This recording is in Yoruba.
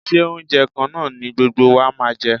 Ṣé oúnjẹ kan náà ni gbogbo wa máa jẹ?